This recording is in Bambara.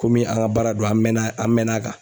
Komi an ka baara do an mɛnna an mɛnn'a kan.